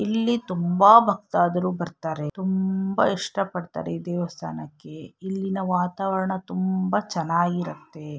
ಇಲ್ಲಿ ತುಂಬಾ ಭಕ್ತಾದರು ಬರ್ತಾರೆ ತುಂಬಾ ಇಷ್ಟ ಪಡ್ತಾರೆ ಈ ದೇವಸ್ಥಾನಕ್ಕೆ ಇಲ್ಲಿನ ವಾತಾವರಣ ತುಂಬಾ ಚೆನ್ನಾಗಿರುತ್ತೆ --